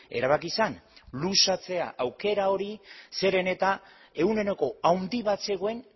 erabaki zen luzatzea aukera hori zeren eta ehuneko handi bat zegoen